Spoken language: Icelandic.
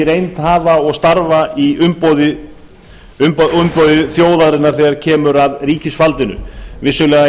reynd hafa og starfa í umboði þjóðarinnar þegar kemur að ríkisvaldinu vissulega